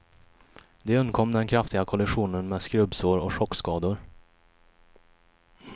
De undkom den kraftiga kollisionen med skrubbsår och chockskador.